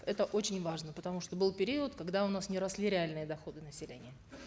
это очень важно потому что был период когда у нас не росли реальные доходы населения